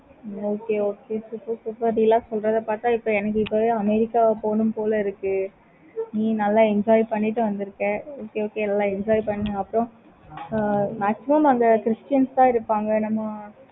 okay okay super super இப்படி எல்லாம் சொல்றத பார்த்த எனக்கு இப்போவே america போனும் போல இருக்கு. நீ நல்ல enjoy பண்ணிட்டு வந்துருக்க. okay okay நல்ல enjoy பண்ணு ஆஹ் அப்பறம் maximum அங்க christians தான் இருப்பாங்க. நம்ம